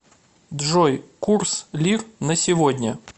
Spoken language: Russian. джой курс лир на сегодня